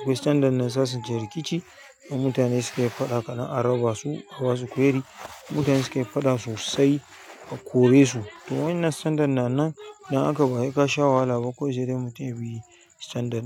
akwai standard na sasanta rikici. In mutane sukai faɗa kaɗan a raba su, a basu query. Mutane suke faɗa sosai a kore su. To wannan standard na nan, dan haka bahe kasha wahala ba kawai sai dai mutam yabi standard.